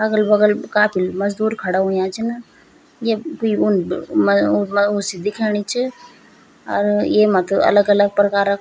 अगल-बगल काफी मजदूर खड़ा हुयां छिन ये कुई उन म उ म उ सी दिख्याणी च और येमा त अलग-अलग प्रकार क --